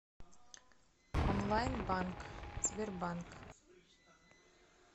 онлайн банк сбербанк